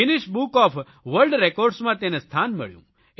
Guinness book of world રેકોર્ડઝમાં તેને સ્થાન મળ્યું